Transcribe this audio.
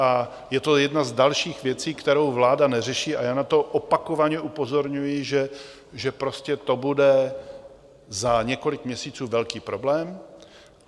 A je to jedna z dalších věcí, kterou vláda neřeší, a já na to opakovaně upozorňuji, že prostě to bude za několik měsíců velký problém.